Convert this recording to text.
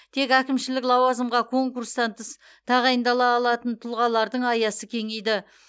тек әкімшілік лауазымға конкурстан тыс тағайындала алатын тұлғалардың аясы кеңейді